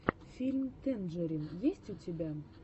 фильм тэнджерин есть ли у тебя